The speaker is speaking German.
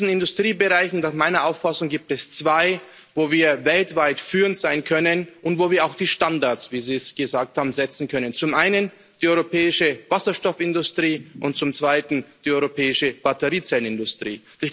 In diesen Industriebereichen gibt es nach meiner Auffassung zwei, wo wir weltweit führend sein können und wo wir auch die Standards, wie Sie es gesagt haben, setzen können zum einen die europäische Wasserstoffindustrie und zum zweiten die europäische Batteriezellenindustrie.